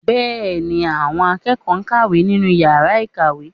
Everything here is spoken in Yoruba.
Bẹ́ẹ̀ ni, àwọn akẹ́kọ̀ọ́ ń kàwé nínú yàrá ìkàwé